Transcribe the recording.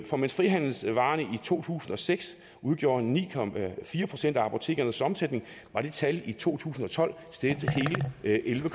for mens frihandelsvarerne i to tusind og seks udgjorde ni procent af apotekernes omsætning var det tal i to tusind og tolv steget til hele elleve